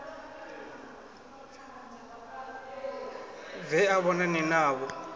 bve a vhonane navho a